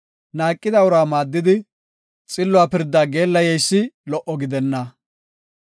Naaqida uraa maaddidi, xilluwa pirdaa geellayeysi lo77o gidenna.